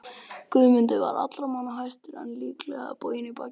Guðmundur var allra manna hæstur en lítillega boginn í baki.